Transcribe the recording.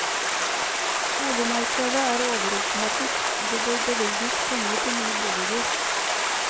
Boligmarkedet er overopphetet, og det bør bevilges penger til nye boliger.